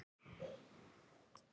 Voru hinar fyrri fegri, betri?